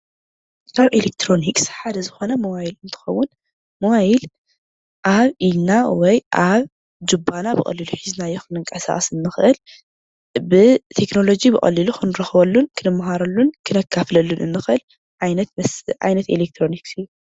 ካብ ኤለክትሮኒክስ ሓደ ዝኾነ ሞባይል እንትኸውን ሞባይል ኣብ ኢድና ወይ ኣብ ጁባና ብቐሊሉ ሒዝናዮ ክንንቀሳቐስ ንኽእል ብቴክኖሎጂ ብቐሊሉ ክንረኽበሉን ክንመሃረሉን ክነካፍለሉ ንኽእል ዓይነት ኤለክትሮኒክስ እዩ፡፡